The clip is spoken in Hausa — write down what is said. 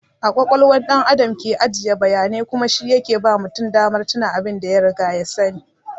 A ƙwaƙwalwa ɗan Adam ke ajiye bayanai kuma shi yake ba mutum damar tuna abin da ya riga ya sani.